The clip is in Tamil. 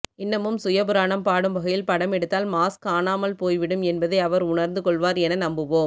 இன்னமும் சுயபுராணம் பாடும் வகையில் படமெடுத்தால் மாஸ் காணாமல் போய்விடும் என்பதை அவர் உணர்ந்து கொள்வார் என நம்புவோம்